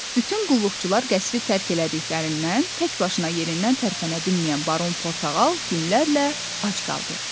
Bütün qulluqçular qəsri tərk elədiklərindən təkbaşına yerindən tərpənə bilməyən Baron Portağal günlərlə ac qaldı.